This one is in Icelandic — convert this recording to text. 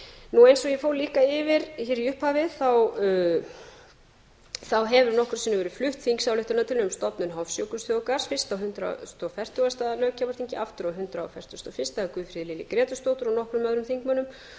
eins og ég fór líka yfir hér í upphafi þá hefur nokkrum sinnum verið flutt þingsályktunartillaga um stofnun hofsjökulsþjóðgarðs fyrst á hundrað og fertugasta löggjafarþingi aftur á hundrað fertugasta og fyrsta af guðfríði lilju grétarsdóttur og nokkrum öðrum þingmönnum og nokkrum öðrum þingmönnum